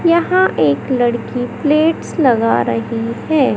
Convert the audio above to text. यहां एक लड़की प्लेट्स लगा रही है।